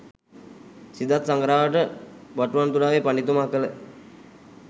සිදත් සඟරාවට බටුවන්තුඩාවේ පඬිතුමා කළ